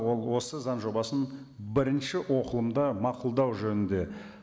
ол осы заң жобасын бірінші оқылымда мақұлдау жөнінде